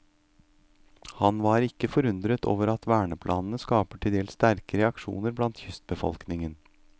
Han var ikke forundret over at verneplanene skaper til dels sterke reaksjoner blant kystbefolkningen.